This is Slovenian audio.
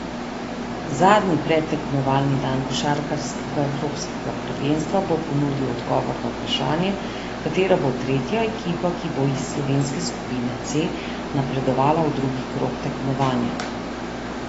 Zadnji predtekmovalni dan košarkarskega evropskega prvenstva bo ponudil odgovor na vprašanje, katera bo tretja ekipa, ki bo iz slovenske skupine C napredovala v drugi krog tekmovanja.